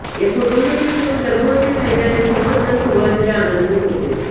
या कुटुंबातील सून गर्भवती राहिल्याने सर्वच जण सुरुवातीला आनंदित होते